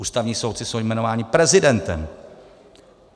Ústavní soudci jsou jmenováni prezidentem.